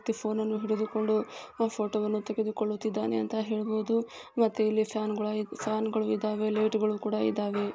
ವ್ಯಕ್ತಿ ಫೋನನ್ನು ಹಿಡಿದುಕೊಂಡು ಫೋಟೋವನ್ನು ತೆಗೆದುಕೊಳ್ಳುತಿದ್ದಾನೆ ಅಂತ ಹೇಳಬೊದು ಮತ್ತು ಇಲ್ಲಿ ಫ್ಯಾನ್ ಕೂಡ ಫ್ಯಾನ್ಗಳು ಇದವೆ ಲೈಟ್ ಗುಳು ಕೂಡ ಇದವೆ.